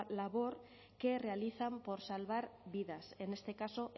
labor que realizan por salvar vidas en este caso